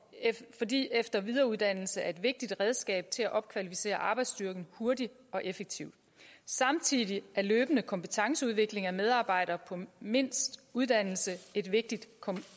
fordi efter og videreuddannelse er et vigtigt redskab til at opkvalificere arbejdsstyrken hurtigt og effektivt samtidig er løbende kompetenceudvikling af medarbejdere på mindst uddannelse et vigtigt